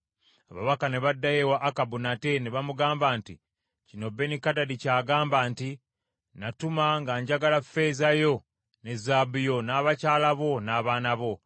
Ababaka ne baddayo ewa Akabu nate ne bamugamba nti, “Kino Benikadadi ky’agamba nti, ‘Natuma nga njagala ffeeza yo ne zaabu yo, n’abakyala bo n’abaana bo.